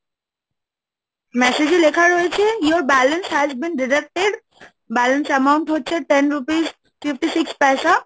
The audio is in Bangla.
message এ লেখা রয়েছে, Your balance has been deducted, Balance Amount হচ্ছে, Ten rupees, Fifty six paisa